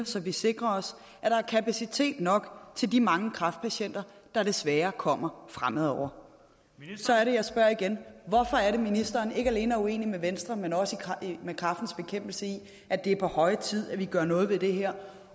så vi sikrer os at der er kapacitet nok til de mange kræftpatienter der desværre kommer fremover så er det jeg spørger igen hvorfor er det ministeren ikke alene er uenig med venstre men også med kræftens bekæmpelse i at det er på høje tid at vi gør noget ved det her